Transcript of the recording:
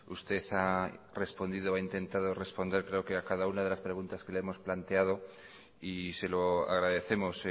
usted ha respondido o ha intentado responder creo que a cada una de las preguntas que le hemos planteado y se lo agradecemos